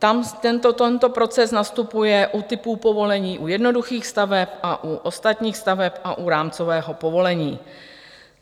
Tento proces nastupuje u typu povolení u jednoduchých staveb a u ostatních staveb a u rámcového povolení.